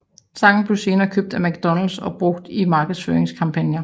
Sangen blev senere købt af McDonalds og brugt i markedsføringskampagner